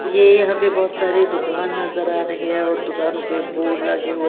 ये यहां पे बोहोत सारे दुकान नजर आ रहे है और दुकानों पे बोर्ड लगे हुए--